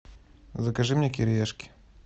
закажи мне кириешки